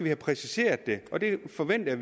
have præciseret det og det forventer